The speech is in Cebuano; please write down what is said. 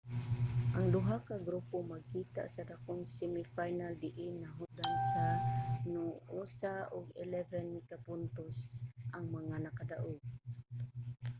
ang duha ka grupo magkita sa dakong semi final diin nahutdan sa noosa ug 11 ka puntos ang mga nakadaug